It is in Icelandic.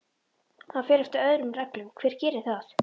Hann fer eftir öðrum reglum, hver gerir það?